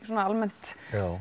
almennt